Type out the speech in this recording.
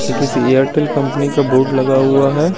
ये किस Airtel company का बोर्ड हुआ है।